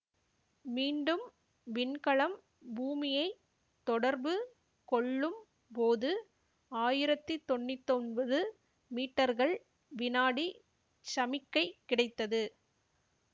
மீண்டும் விண்கலம் பூமியை தொடர்பு கொள்ளும் போது ஆயிரத்தி தொன்னூத்தி ஒன்பது மீட்டர்கள்வினாடி சமிக்கை கிடைத்தது